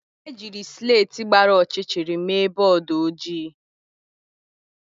Ejiri slèti gbara ọchịchịrị mee bọọdụ ojii.